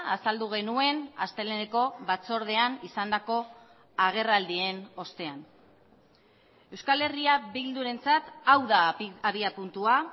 azaldu genuen asteleheneko batzordean izandako agerraldien ostean euskal herria bildurentzat hau da abiapuntua